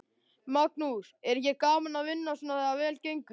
Magnús: Er ekki gaman að vinna svona þegar vel gengur?